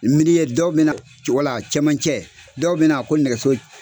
Min'i ye dɔw bɛna co wala cɛmancɛ, dɔw bɛna ko nɛgɛso